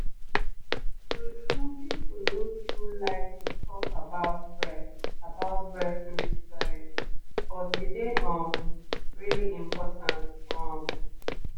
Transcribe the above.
true-true people no too like to talk about breast about breast milk storage but e dey um really important um